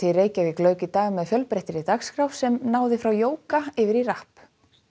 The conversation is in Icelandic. Reykjavík lauk í dag með fjölbreyttri dagskrá sem náði frá jóga yfir í rapp